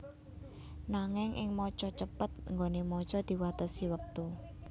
Nanging ing maca cepet nggoné maca diwatesi wektu